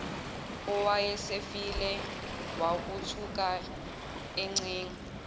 owayesefile wukuthuka encenga